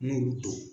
N y'olu don